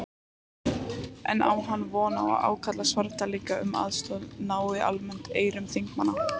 En á hann von á að ákall Svarfdælinga um aðstoð nái almennt eyrum þingmanna?